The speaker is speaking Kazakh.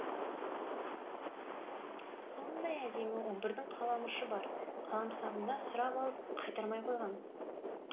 сондай әдемі он бірдің қаламұшы бар қаламсабымды сұрап алып қайтармай қойған